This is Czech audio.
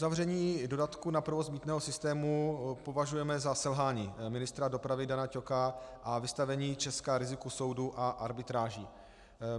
Uzavření dodatku na provoz mýtného systému považujeme za selhání ministra dopravy Dana Ťoka a vystavení Česka riziku soudu a arbitráži.